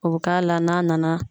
O bi k'a la n'a nana